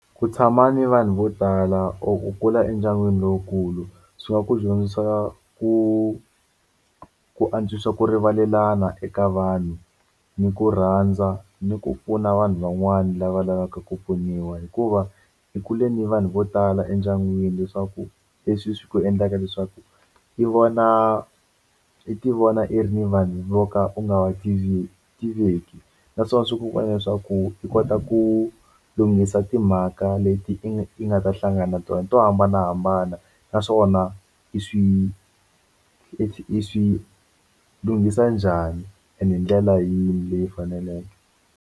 Ku tshama ni vanhu vo tala or ku kula endyangwini lowukulu swi nga ku dyondzisa ku ku antswisa ku rivalelana eka vanhu ni ku rhandza ni ku pfuna vanhu van'wana lava lavaka ku pfuniwa hikuva hi kule ni vanhu vo tala endyangwini leswaku leswi swi endlaka leswaku i vona i ti vona i ri ni vanhu vo ka u nga wa tiveki naswona swi ku endla leswaku i kota ku lunghisa timhaka leti i nga ta hlangana na tona to hambanahambana naswona i swi i swi lunghisa njhani ende hi ndlela yini leyi faneleke.